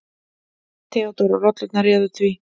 THEODÓRA: Rollurnar réðu því.